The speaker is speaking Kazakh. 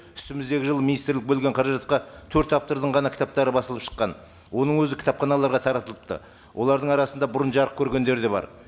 үстіміздегі жылы министрлік бөлген қаражатқа төрт автордың ғана кітаптары басылып шыққан оның өзі кітапханаларға таратылыпты олардың арасында бұрын жарық көргендері де бар